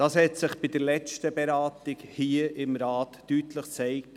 das hat sich bei der letzten Beratung hier im Rat gezeigt.